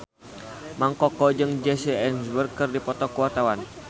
Mang Koko jeung Jesse Eisenberg keur dipoto ku wartawan